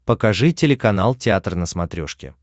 покажи телеканал театр на смотрешке